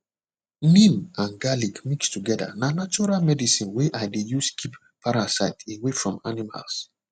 neem and garlic mix together na natural medicine wey i dey use keep parasite away from animals